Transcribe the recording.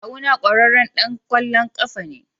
Kawuna kwararren dan kwallon kafa ne.